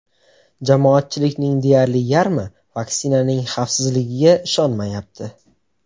Jamoatchilikning deyarli yarmi vaksinaning xavfsizligiga ishonmayapti.